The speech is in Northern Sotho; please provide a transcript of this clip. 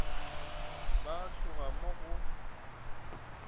ba a tšhoga mo go